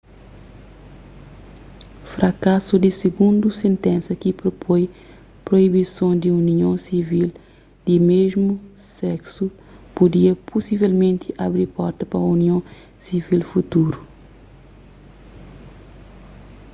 frakasu di sigundu sentensa ki propoi proibison di union sivil di mésmu seksu pudia pusivelmenti abi porta pa union sivil futuru